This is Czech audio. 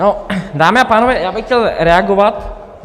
No, dámy a pánové, já bych chtěl reagovat.